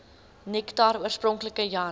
nektar oorspronklik jan